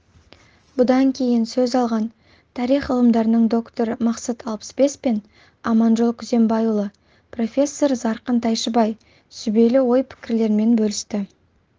бұдан кейін сөз алған тарих ғылымдарының докторы мақсат алпысбес пен аманжол күзембайұлы профессор зарқын тайшыбай сүбелі ой-пікірлерімен бөлісті